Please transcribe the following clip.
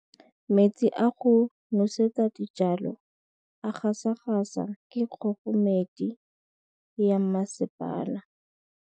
Metsi a go nosetsa dijalo a gasa gasa ke kgogomedi ya masepala.